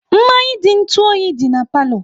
Mmanya dị n'ntu oyi dị na palo